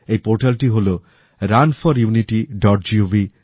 এই পোর্টাল টি হল runforunitygovin